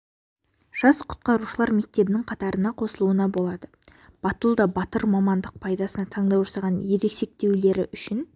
жас құтқарушылар мектебінің қатарына қосылуына болады батыл да батыр мамандық пайдасына таңдау жасаған ересектеулері үшін